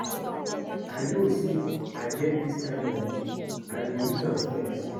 I no know say I get dis kin money, I go use am flex